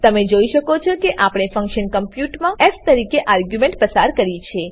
તમે જોઈ શકો છો કે આપણે ફંક્શન કોમપ્યુટમાં ફ તરીકે આર્ગ્યુંમેંટ પસાર કરી છે